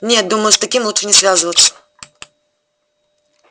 нет думаю с таким лучше не связываться